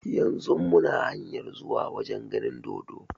Yanzun muna hanyar zuwa wajen ganin dodo